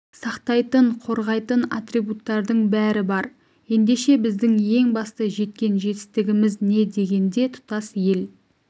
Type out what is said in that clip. сақтайтын қорғайтын атрибуттардың бәрі бар ендеше біздің ең басты жеткен жетістігіміз не дегенде тұтас ел